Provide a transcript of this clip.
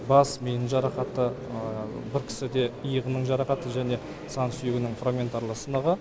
бас миының жарақаты бір кісіде иығының жарақаты және сан сүйегінің фрагментарлы сынығы